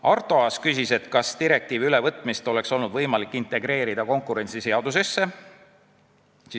Arto Aas küsis, kas direktiivi ülevõtmist oleks olnud võimalik integreerida konkurentsiseadusesse.